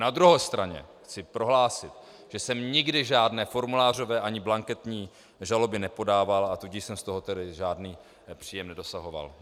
Na druhé straně chci prohlásit, že jsem nikdy žádné formulářové ani blanketní žaloby nepodával, a tudíž jsem z toho tedy žádný příjem nedosahoval.